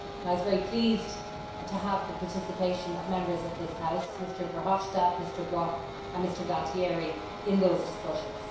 I was very pleased to have the participation of Members of this House, Mr Verhofstadt, Mr Brok and Mr Gualtieri in those discussions.